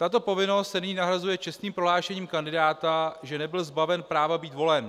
Tato povinnost se nyní nahrazuje čestným prohlášením kandidáta, že nebyl zbaven práva být volen.